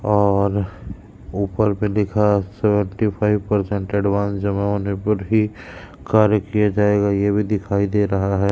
और ऊपर पे दिखा सेवंटी फाइव परसेंट एडवांस जमा होने पर ही कार्य किया जाएगा यह भी दिखाई दे रहा है।